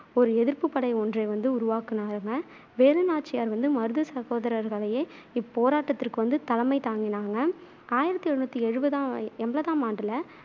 ஓரு எதிர்ப்புப்படை ஒன்றை வந்து உருவாக்குனாங்க. வேலுநாச்சியார் வந்து மருது சகோதரர்களையே இப்போராட்டத்திற்கு வந்து தலைமை தாங்கினாங்க ஆயிரத்து எழுநூத்து எழுவதா எண்பதாம் ஆண்டுல